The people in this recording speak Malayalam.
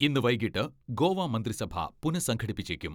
ഇന്ന് വൈകീട്ട് ഗോവ മന്ത്രിസഭ പുനഃസംഘടിപ്പിച്ചേക്കും.